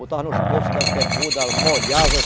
Botava nos bolsos das bermudas, molhava.